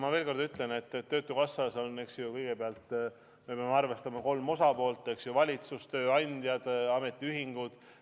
Ma veel kord ütlen, et me peame arvestama, et töötukassas on kolm osapoolt: valitsus, tööandjad ja ametiühingud.